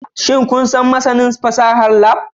Shin kun san masanin fasahar Lab?